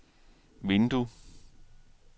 vindue